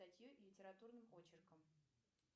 статью литературным очерком